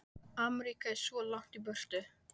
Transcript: Ameríka er svo langt í burtu